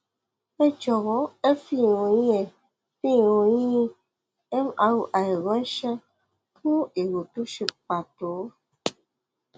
ẹ jọwọ ẹ fi ìròyìn ẹ fi ìròyìn [ mri ránṣẹ fún èrò tó ṣe pàtó